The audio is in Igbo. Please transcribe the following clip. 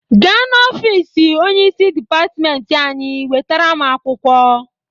Gaa n'ofisi onyeisi dịpatịmentị anyị wetara m akwụkwọ!